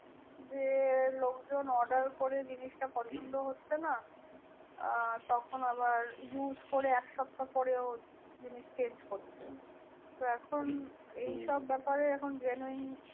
যে লোকজন order করে জিনিসটা পছন্দ হচ্ছে না। আহ তখন আবার use করে এক সপ্তাহ পরে ও জিনিস change করছে। তো এখন হম এইসব ব্যাপারে এখন genuine